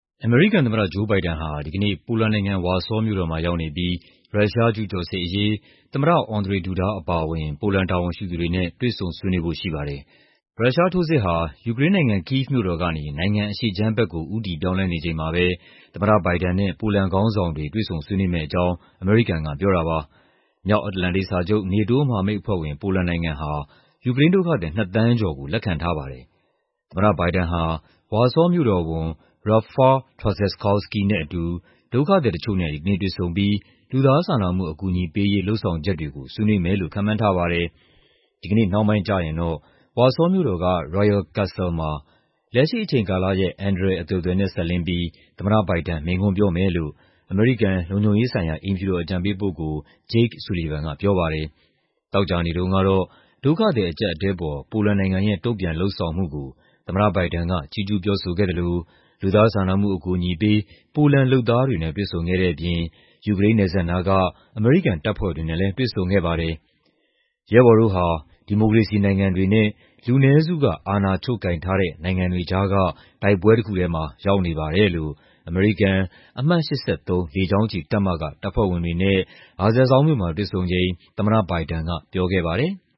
အမေရိကန်သမ္မတ ဂျိုးဘိုင်ဒန်ဟာ ဒီကနေ့ ပိုလန်နိုင်ငံ၊ ဝါဆောမြို့တော်မှာ ရောက်နေပြီး ရုရှားကျူးကျော်စစ်အရေး သမ္မတ Andrzej Duda အပါအဝင် ပိုလန်တာဝန်ရှိသူတွေနဲ့ တွေ့ဆုံဆွေးနွေးဖို့ ရှိပါတယ်။ ရုရှားထိုးစစ်ဟာ ယူကရိန်းနိုင်ငံ၊ ကိဗ်မြို့တော်ကနေ နိုင်ငံအရှေ့ခြမ်းဘက်ကို ဦးတည်ပြောင်းလဲနေချိန်မှာပဲ သမ္မတဘိုင်ဒန်နဲ့ ပိုလန်ခေါင်းဆောင်တွေ တွေ့ဆုံဆွေးနွေးမယ့်အကြောင်း အမေရိကန်က ပြောတာပါ။ မြောက်အတ္တလန္တိတ်စာချုပ် (NATO) မဟာမိတ်အဖွဲ့ဝင် ပိုလန်နိုင်ငံဟာ ယူကရိန်းဒုက္ခသည် ၂ သန်းကျော်ကို လက်ခံထားပါတယ်။ သမ္မတဘိုင်ဒန်ဟာ ဝါဆောမြို့တော်ဝန် Rafal Trzaskowski နဲ့အတူ ဒုက္ခသည်တချို့နဲ့ ဒီကနေ့တွေ့ဆုံပြီး လူသားစာနာမှု အကူအညီပေးရေး လုပ်ဆောင်ချက်တွေကို ဆွေးနွေးမယ်လို့ ခန့်မှန်းထားပါတယ်။ ဒီကနေ့နှောင်းပိုင်းကျရင်တော့ ဝါဆောမြို့တော်က Royal Castle မှာ လက်ရှိအချိန်ကာလရဲ့ အန္တရာယ်အသွယ်သွယ်နဲ့ စပ်လျဉ်းပြီး သမ္မတဘိုင်ဒန် မိန့်ခွန်းပြောမယ်လို့ အမေရိကန် လုံခြုံရေးဆိုင်ရာ အိမ်ဖြူတော် အကြံပေးပုဂ္ဂိုလ် Jake Sullivan က ပြောပါတယ်။ သောကြာနေ့တုန်းကတော့ ဒုက္ခသည် အကျပ်အတည်းအပေါ် ပိုလန်နိုင်ငံရဲ့ တုံ့ပြန်လုပ်ဆောင်မှုကို သမ္မတဘိုင်ဒန်က ချီးကျူး ပြောဆိုခဲ့သလို လူသားစာနာမှု အကူအညီပေး ပိုလန်လုပ်သားတွေနဲ့ တွေ့ဆုံခဲ့တဲ့အပြင် ယူကရိန်းနယ်စပ်နားက အမေရိကန် တပ်ဖွဲ့တွေနဲ့လည်း တွေ့ဆုံခဲ့ပါတယ်။ “ရဲဘော်တို့ဟာ ဒီမိုကရေစီနိုင်ငံတွေနဲ့ လူနည်းစုက အာဏာချုပ်ကိုင်ထားတဲ့ နိုင်ငံတွေကြားက တိုက်ပွဲတခုထဲမှာ ရောက်နေပါတယ်” လို့ အမေရိကန်၊ အမှတ် ၈၃ လေကြောင်းချီတပ်မက တပ်ဖွဲ့ဝင်တွေနဲ့ Rzeszów မြို့မှာ တွေ့ဆုံချိန် သမ္မတဘိုင်ဒန်က ပြောခဲ့ပါတယ်။